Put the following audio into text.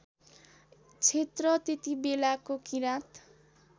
क्षेत्र त्यतिबेलाको किराँत